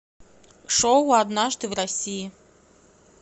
шоу однажды в россии